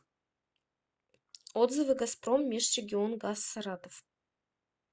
отзывы газпром межрегионгаз саратов